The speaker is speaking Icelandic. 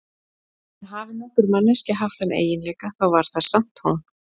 En hafi nokkur manneskja haft þann eiginleika, þá var það samt hún.